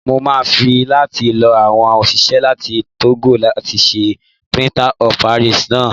Mo máa fẹ́ láti lo àwọn òṣìṣẹ́ láti Tógò láti ṣe Plaster of Paris náà. S